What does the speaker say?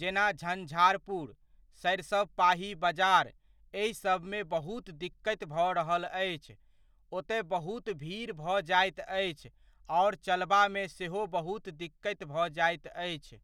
जेना झंझारपुर, सरिसबपाही बजार एहिसभमे बहुत दिक्कति भऽ रहल अछि, ओतय बहुत भीड़ भऽ जाइत अछि आओर चलबामे सेहो बहुत दिक्कति भऽ जाइत अछि।